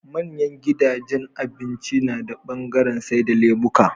manyan gidajan abinci nada bangaran saida lemuka